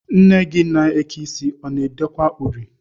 Nne gị na-eke isi, ọ na-edekwu uri?